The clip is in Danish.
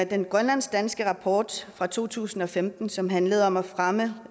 den grønlandsk danske rapport fra to tusind og femten som handler om at fremme